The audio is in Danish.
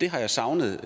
det har jeg savnet